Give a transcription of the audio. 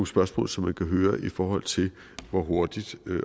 spørgsmål som man kan høre i forhold til hvor hurtigt